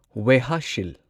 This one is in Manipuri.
ꯋꯦꯍꯁꯤꯜ